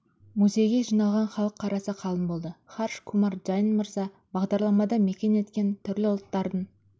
музейге жиналған халық қарасы қалың болды харш кумар джайн мырза бағдарламада мекен еткен түрлі ұлттардың